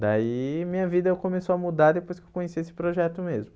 Daí minha vida começou a mudar depois que eu conheci esse projeto mesmo.